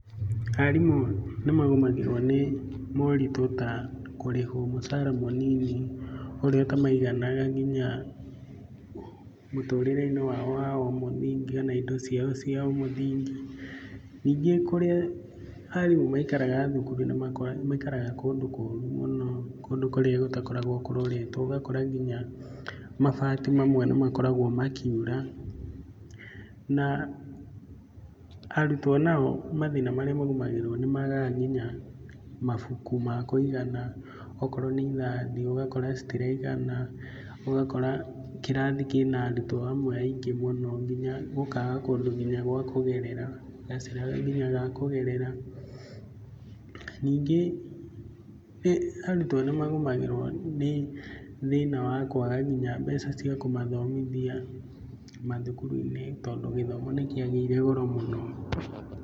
Arimũ nĩ magũmagĩrwo nĩ moritũ ta kũrĩhwo mũcaara mũnini ũrĩa ũtamaiganaga nginya mũtũrĩre-inĩ wao wa ũmũthingi kana indo ciao cia ũmũthingi. Ningĩ kũrĩa arimũ maikaraga thukuru, nĩmaikaraga kũndũ kũru mũno ,kũndũ kũrĩa gũtakoragwo kũroretwo, ũgakora nginya mabati mamwe nĩ makoragwo makiura na arutwo nao mathĩna marĩa magũmagĩrwo, nĩ magaga nginya mabuku ma kũigana, okorwo nĩ irathi ũgakora citiraigana, ũgakora kĩrathi kĩna arutwo amwe aingĩ mũno nginya gũkaga kũndũ nginya gwa kũgerera-gacĩra nginya ga kũgerera. Ningĩ arutwo nĩ magũmagĩrwo nĩ thĩna wa kũaga nginya mbeca cia kũmathomithia mathukuru-inĩ tondũ gĩthomo nĩ kĩagĩire goro mũno.